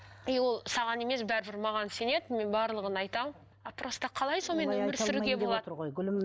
и ол саған емес бәрібір маған сенеді мен барлығын айтамын а просто қалай сонымен өмір сүруге болады